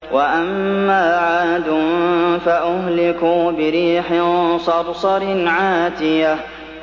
وَأَمَّا عَادٌ فَأُهْلِكُوا بِرِيحٍ صَرْصَرٍ عَاتِيَةٍ